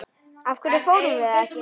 Af hverju fórum við ekki?